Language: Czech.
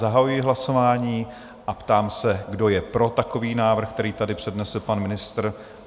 Zahajuji hlasování a ptám se, kdo je pro takový návrh, který tady přednesl pan ministr?